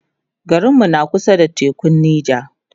garinmu na kusa da tekun Nija